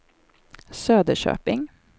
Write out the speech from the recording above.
Söderköping